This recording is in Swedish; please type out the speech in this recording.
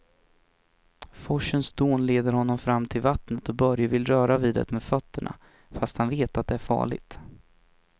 Forsens dån leder honom fram till vattnet och Börje vill röra vid det med fötterna, fast han vet att det är farligt.